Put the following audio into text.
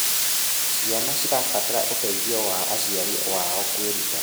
Ciana cirabatara ũteithio wa aciari wao kwĩruta